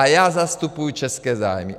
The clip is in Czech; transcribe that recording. A já zastupuju české zájmy.